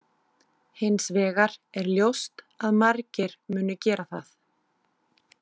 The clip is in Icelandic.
Hins vegar er ljóst að margir munu gera það.